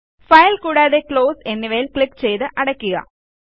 file കൂടാതെ close എന്നിവയിൽ click ചെയ്ത് അടയ്ക്കുക